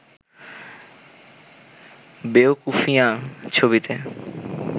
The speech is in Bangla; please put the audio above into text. বেওকুফিয়ান’ ছবিতে